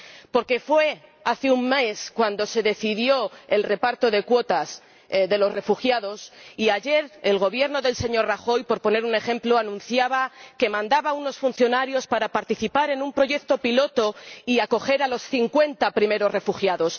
Porque fue hace un mes cuando se decidió el reparto de cuotas de los refugiados, y ayer, el Gobierno del señor Rajoy, por poner un ejemplo, anunciaba que mandaba a unos funcionarios para participar en un proyecto piloto y acoger a los cincuenta primeros refugiados.